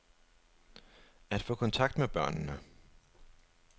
At få kontakt med børnene.